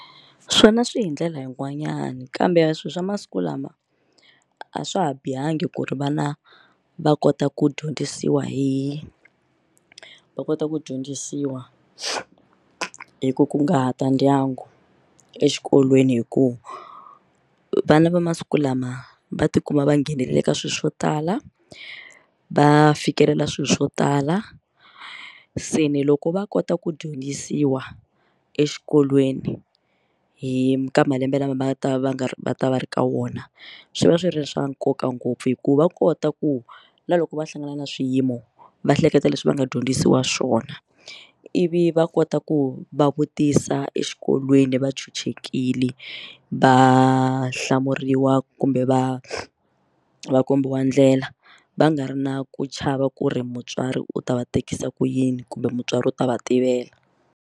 Swona swi hi ndlela yin'wanyana kambe swilo swa masiku lama a swa ha bihangi ku ri vana va kota ku dyondzisiwa hi va kota ku dyondzisiwa hi ku kunguhata ndyangu exikolweni hi ku vana va masiku lama va ti kuma va nghenelela ka swilo swo tala va fikelela swilo swo tala se ni loko va kota ku dyondzisiwa exikolweni hi ka malembe lama va ta va nga va ta va ri ka wona swi va swi ri swa nkoka ngopfu hikuva va kota ku na loko va hlangana na swiyimo va hleketa leswi va nga dyondzisiwa swona ivi va kota ku va vutisa exikolweni bolweni va chuchekile va hlamuriwa kumbe va va kombiwa ndlela va nga ri na ku chava ku ri mutswari u ta va tekisa ku yini kumbe mutswari u ta va tiveka.